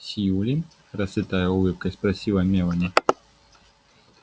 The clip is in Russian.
сьюлин расцветая улыбкой спросила мелани